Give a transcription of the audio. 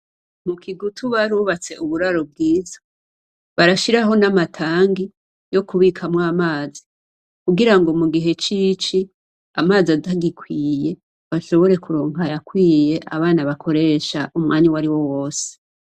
Mukigutu barubatse uburaro bwiza, barashiraho n'amatangi yokubikamwamazi, kugirango mugihe c'ici amazi atagikwiye bashobore kuronka ayakwiye abana bakoresha umwanaya wariwo wose.